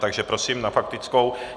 Takže prosím na faktickou.